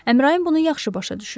Əmrayin bunu yaxşı başa düşürdü.